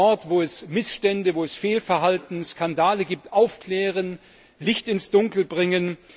Wir müssen dort, wo es Missstände, Fehlverhalten, Skandale gibt, aufklären, Licht ins Dunkel bringen.